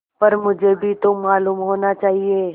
पर मुझे भी तो मालूम होना चाहिए